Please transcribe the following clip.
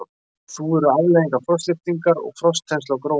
Þúfur eru afleiðingar frostlyftingar og frostþenslu á gróinni jörð.